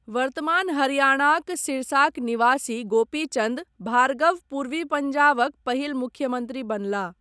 वर्तमान हरियाणाक सिरसाक निवासी गोपी चन्द भार्गव पूर्वी पंजाबक पहिल मुख्यमन्त्री बनलाह।